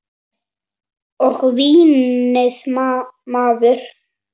Og vínið maður!